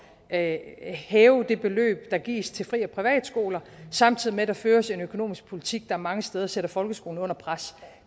at hæve det beløb der gives til fri og privatskoler samtidig med at der føres en økonomisk politik der mange steder sætter folkeskolen under pres